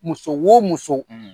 Muso wo muso